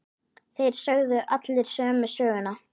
Þeir sögðu allir sömu söguna.